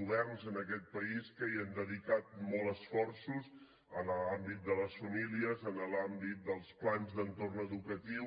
governs en aquest país que han dedicat molts esforços a l’àmbit de les famílies a l’àmbit dels plans d’entorn educatiu